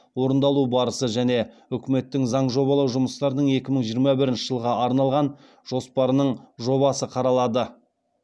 орындалу барысы және үкіметтің заң жобалау жұмыстарының екі мың жиырма бірінші жылға арналған жоспарының жобасы қаралады